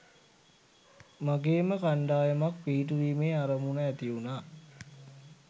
මගේම කණ්ඩායමක් පිහිටුවීමේ අරමුණු ඇතිවුණා